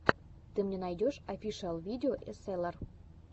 ты мне найдешь офишиал видео эсэлар